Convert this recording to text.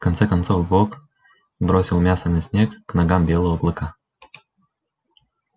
конце концов бог бросил мясо на снег к ногам белого клыка